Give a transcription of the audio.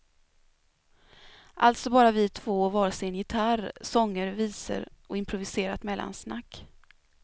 Alltså bara vi två och var sin gitarr, sånger, visor och improviserat mellansnack.